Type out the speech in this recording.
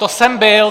To jsem byl!